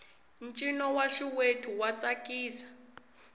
ncino wa xiwethu wa tsakisa